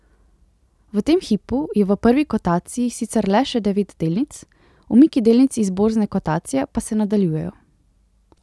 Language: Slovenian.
V tem hipu je v prvi kotaciji sicer le še devet delnic, umiki delnic iz borzne kotacije pa se nadaljujejo.